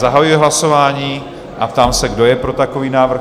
Zahajuji hlasování a ptám se, kdo je pro takový návrh?